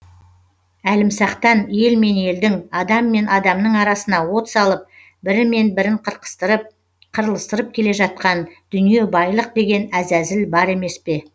әлімсақтан ел мен елдің адам мен адамның арасына от салып бірі мен бірін қырқыстырып қырылыстырып келе жатқан дүние байлық деген әзәзіл бар емес пе